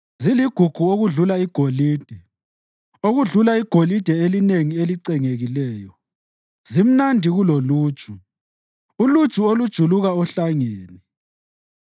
Ziligugu okudlula igolide, okudlula igolide elinengi elicengekileyo; zimnandi kuloluju, uluju olujuluka ohlangeni.